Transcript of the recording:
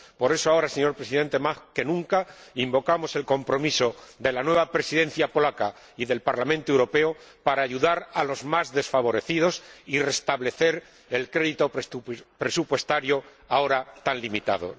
Por eso, ahora, señor Presidente, más que nunca invocamos el compromiso de la nueva Presidencia polaca y del Parlamento Europeo para ayudar a los más desfavorecidos y restablecer el crédito presupuestario ahora tan limitado.